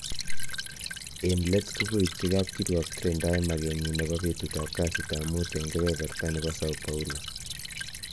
En let kogoipchi kap kiruok Trindae magenyin nebo betutab kasitab mut en keberbeta nebo Sao Paulo